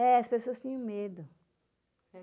É, as pessoas tinham medo.